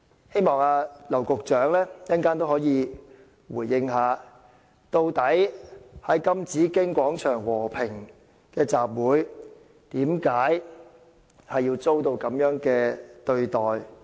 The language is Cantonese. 希望劉局長稍後回應，究竟在金紫荊廣場和平集會的人，為甚麼會遭受這樣的對待？